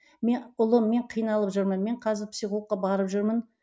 мен ұлым мен қиналып жүрмін мен қазір психологқа барып жүрмін